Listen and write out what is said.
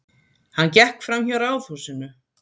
Hann gekk framhjá ráðhúsinu.